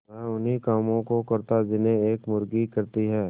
वह उन्ही कामों को करता जिन्हें एक मुर्गी करती है